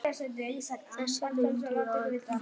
Þessir duga okkur öllum.